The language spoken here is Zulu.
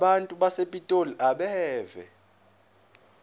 abantu basepitoli abeve